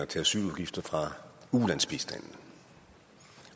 til asyludgifter fra ulandsbistanden